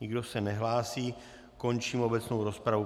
Nikdo se nehlásí, končím obecnou rozpravu.